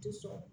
Tɛ sɔn